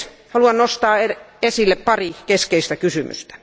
Haluan nostaa esille pari keskeistä kysymystä.